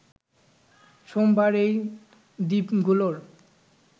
সোমবার এই দ্বীপগুলোর